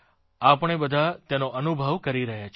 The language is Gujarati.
આપણે બધા તેનો અનુભવ કરી રહ્યા છીએ